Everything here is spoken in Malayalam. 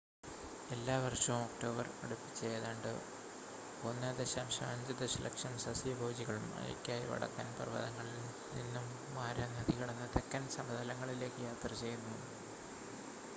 എല്ലാവർഷവും ഒക്ടോബർ അടുപ്പിച്ച് ഏതാണ്ട് 1.5 ദശലക്ഷം സസ്യഭോജികൾ മഴക്കായി വടക്കൻ പർവ്വതങ്ങളിൽ നിന്നും മാരാ നദി കടന്ന് തെക്കൻ സമതലങ്ങളിലേക്ക് യാത്ര ചെയ്യുന്നു